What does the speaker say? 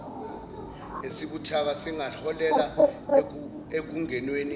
esibuthaka singaholela ekungenweni